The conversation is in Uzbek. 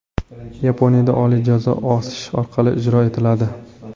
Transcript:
Yaponiyada oliy jazo osish orqali ijro etiladi.